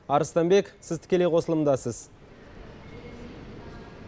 арыстанбек сіз тікелей қосылымдасыз